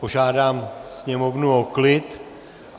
Požádám sněmovnu o klid.